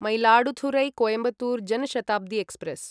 Mayiladuthurai Coimbatore Jan Shatabdi express